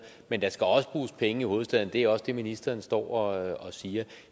men der skal også bruges penge i hovedstaden det er også det ministeren står og og siger